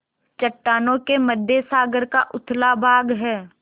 चट्टानों के मध्य सागर का उथला भाग है